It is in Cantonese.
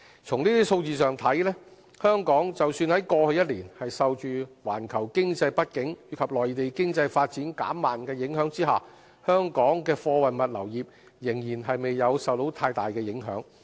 從這些數字上看，即使香港在過去一年受着環球經濟不景及內地經濟發展減慢的影響下，香港的貨運物流業仍未有受太大的影響。